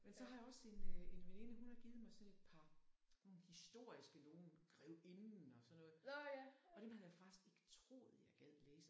Men så har jeg også en øh en veninde hun har givet mig sådan et par nogle historiske nogen grevinden og sådan noget og dem havde jeg faktisk ikke troet jeg gad læse